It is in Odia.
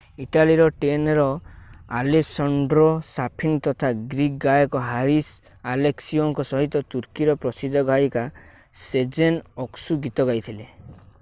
ଇଟାଲୀର ଟେନର୍ ଆଲେସାଣ୍ଡ୍ରୋ ସାଫିନା ତଥା ଗ୍ରୀକ୍ ଗାୟକ ହାରିସ୍ ଆଲେକ୍ସିଓଙ୍କ ସହିତ ତୁର୍କୀର ପ୍ରସିଦ୍ଧ ଗାୟିକା ସେଜେନ୍ ଅକ୍‌ସୁ ଗୀତ ଗାଇଥିଲେ।